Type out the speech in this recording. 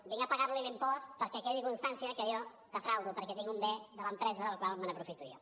vinc a pagar li l’impost perquè quedi constància que jo defraudo perquè tinc un bé de l’empresa del qual m’aprofito jo